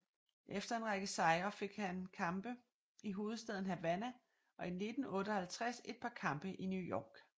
Efter en række sejre fik han kampe i hovedstaden Havanna og i 1958 et par kampe i New York